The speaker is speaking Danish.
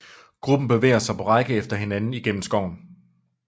Gruppen bevæger sig på række efter hinanden gennem skoven